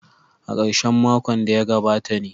A karshen makon da ya gabata ne.